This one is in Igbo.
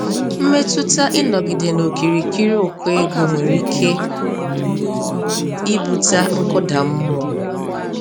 Mmetụta ịnọgide n'okirikiri ụkọ ego nwere ike ibute nkụda mmụọ.